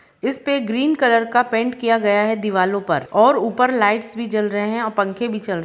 पे इस पर ग्रीन कलर का पेंट किया गया है दीवारों पर और ऊपर लाइट्स भी जल रहे हैं और पंखे भी चल रहे हैं।